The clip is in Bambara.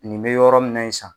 Nin bɛ yɔrɔ minna ye san.